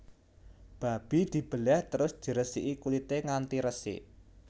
Babi dibelèh terus diresiki kulité nganti resik